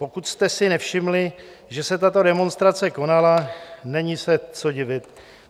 Pokud jste si nevšimli, že se tato demonstrace konala, není se co divit.